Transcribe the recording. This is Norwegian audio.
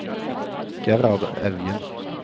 Gerhard Evjen